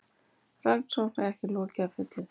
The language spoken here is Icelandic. Rannsókn er ekki að fullu lokið